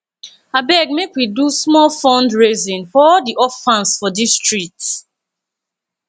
abeg make we do small fundraising for all di orphans for dis street